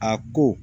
A ko